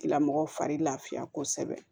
Lamɔgɔw fari lafiya kosɛbɛ